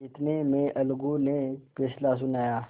इतने में अलगू ने फैसला सुनाया